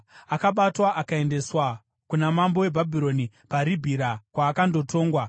Akabatwa akaendeswa kuna mambo weBhabhironi paRibhira, kwaakandotongwa.